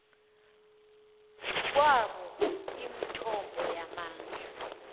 kwabo imithombo yamandla